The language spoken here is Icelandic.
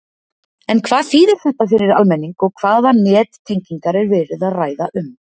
En hvað þýðir þetta fyrir almenning og hvaða nettengingar er verið að ræða um?